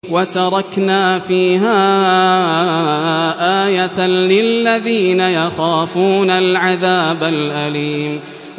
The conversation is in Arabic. وَتَرَكْنَا فِيهَا آيَةً لِّلَّذِينَ يَخَافُونَ الْعَذَابَ الْأَلِيمَ